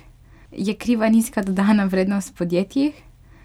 Je kriva nizka dodana vrednost v podjetjih?